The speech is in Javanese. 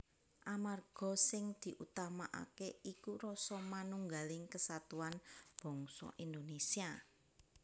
Amarga sing diutamakaké iku rasa manunggaling kesatuan bangsa Indonésia